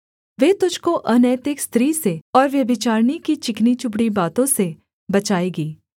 वे तुझको अनैतिक स्त्री से और व्यभिचारिणी की चिकनी चुपड़ी बातों से बचाएगी